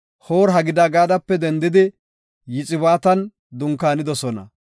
Hoor-Hagidigadape dendidi Yoxibaatan dunkaanidosona.